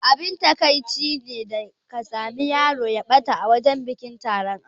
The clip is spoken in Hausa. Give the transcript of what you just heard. Abin takaici ne da ka sami yaro ya ɓata a wajan taron bikin aure.